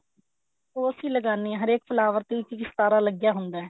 ਉਹ ਅਸੀਂ ਲਗਾਨੇ ਆ ਹਰੇਕ flower ਤੇ ਇੱਕ ਇੱਕ ਸਿਤਾਰਾ ਲੱਗਿਆ ਹੁੰਦਾ